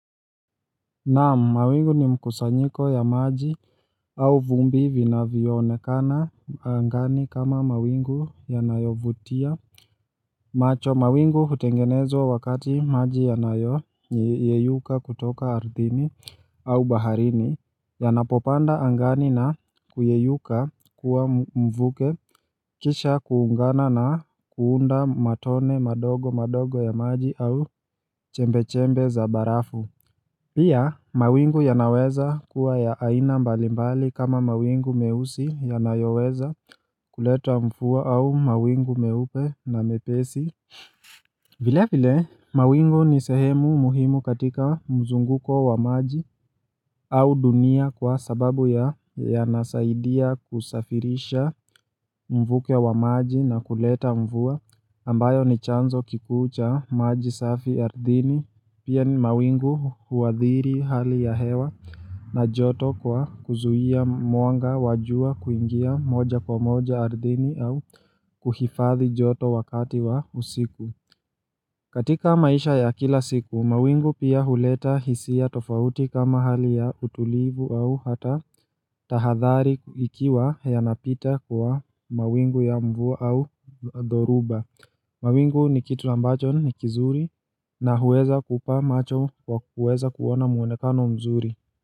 Naam, mawingu ni mkusanyiko ya maji au vumbi vinavyoonekana angani kama mawingu yanayovutia macho, mawingu hutengenezwa wakati maji yanayo yeyuka kutoka ardhini au baharini, Yanapopanda angani na kuyeyuka kuwa mvuke kisha kuungana na kuunda matone madogo madogo ya maji au chembechembe za barafu, pia kuwa ya aina mbali mbali kama mawingu meusi yanayoweza kuleta mvua au mawingu meupe na mepesi vile vile mawingu ni sehemu muhimu katika mzunguko wa maji. Au dunia kwa sababu yanasaidia kusafirisha mvuke wa maji na kuleta mvua ambayo ni chanzo kikuu cha maji safi ardhini pia ni mawingu huwathiri hali ya hewa. Na joto kwa kuzuia mwanga wa jua kuingia moja kwa moja ardhini au kuhifadhi joto wakati wa usiku. Katika maisha ya kila siku, mawingu pia huleta hisia tofauti kama hali ya utulivu au hata tahadhari ikiwa yanapita kwa mawingu ya mvua au dhoruba. Mawingu ni kitu ambacho ni kizuri na huweza kukupa macho kwa kuweza kuona muonekano mzuri.